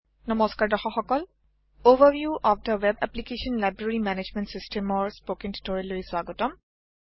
নমস্কাৰ দৰ্শক সকল overview of the web application - library management system ৰ স্পোকেন টিউটোৰিয়েল লৈ স্বাগতম